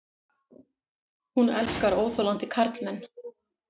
Hún elskar óþolandi karlmenn.